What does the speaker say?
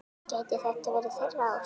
Gæti þetta verið þeirra ár?